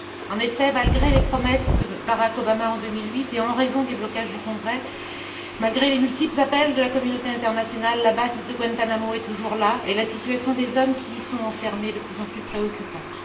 En effet, malgré les promesses de Barack Obama, en 2008, et en raison des blocages du Congrès, malgré les multiples appels de la communauté internationale, la base de Guantánamo est toujours là et la situation des hommes qui y sont enfermés est de plus en plus préoccupante.